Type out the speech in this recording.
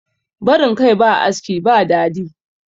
barin Kai ba aski ba dadi